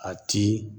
A ti